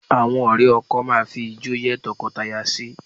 Àwọn ọ̀rẹ́ ọkọ máa fijó yẹ́ tọkọtaya sí